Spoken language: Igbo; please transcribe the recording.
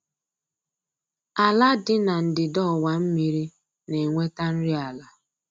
Ala dị na ndịda ọwa mmiri na-enweta nri ala